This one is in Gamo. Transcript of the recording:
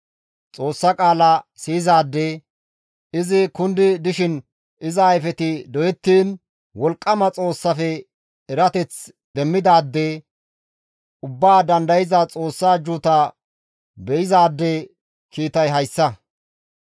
Xoossa qaala siyizaade, izi kundi dishin iza ayfeti doyettiin Wolqqama Xoossafe erateth demmidaade, Ubbaa Dandayza Xoossaa ajjuuta be7izaade kiitay hayssa.